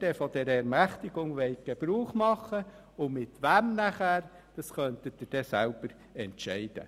Wann und mit wem Sie von dieser Ermächtigung Gebrauch machen wollen, könnten Sie dann selber entscheiden.